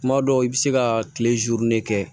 Kuma dɔw i bɛ se ka tile kɛ